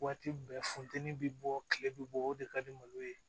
Waati bɛɛ funtɛni bɛ bɔ tile bɛ bɔ o de ka di malo ye